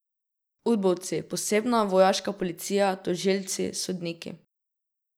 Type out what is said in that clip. Udbovci, posebna vojaška policija, tožilci, sodniki ...